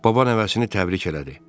Baba nəvəsini təbrik elədi.